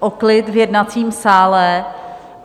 o klid v jednacím sále.